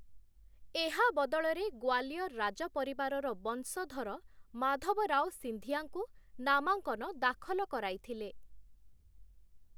ଏହା ବଦଳରେ ଗ୍ୱାଲିୟର ରାଜପରିବାରର ବଂଶଧର ମାଧବରାଓ ସିନ୍ଧିଆଙ୍କୁ, ନାମାଙ୍କନ ଦାଖଲ କରାଇଥିଲେ ।